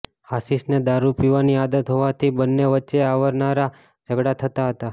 આશિષને દારૂ પીવાની આદત હોવાથી બન્ને વચ્ચે અવારનવાર ઝઘડા થતા હતા